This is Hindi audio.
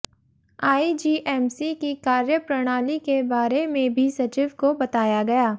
आईजीएमसी की कार्यप्रणाली के बारे में भी सचिव को बताया गया